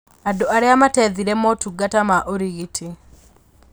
Andũ arĩa matethire motungata ma ũrigiti